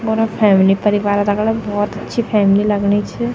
फैमिली परिवारक दगड भौत अच्छी फैमिली लगणी च।